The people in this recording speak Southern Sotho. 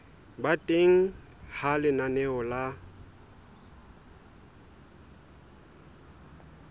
ba teng ha lenaneo la